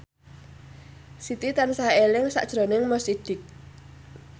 Siti tansah eling sakjroning Mo Sidik